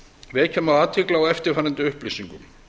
vekja má athygli á eftirfarandi upplýsingum